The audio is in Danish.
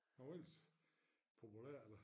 Han var ellers populær da